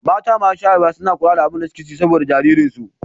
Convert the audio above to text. Mata masu shayarwa suna kula da abin da suke ci saboda jariransu.